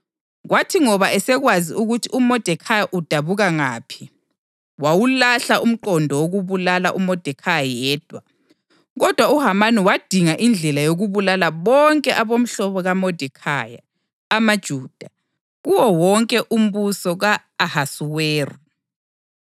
Kwathi ngoba esekwazi ukuthi uModekhayi udabuka ngaphi, wawulahla umqondo wokubulala uModekhayi yedwa. Kodwa uHamani wadinga indlela yokubulala bonke abomhlobo kaModekhayi, amaJuda, kuwo wonke umbuso ka-Ahasuweru.